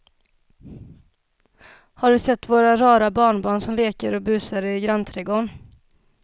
Har du sett våra rara barnbarn som leker och busar ute i grannträdgården!